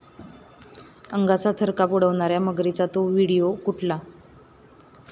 अंगाचा थरकाप उडवणाऱ्या मगरींचा 'तो' व्हिडिओ कुठला?